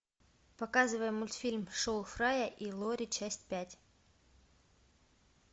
показывай мультфильм шоу фрая и лори часть пять